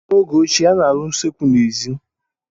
N'oge ochie, a na-arụ usekwu n'èzí.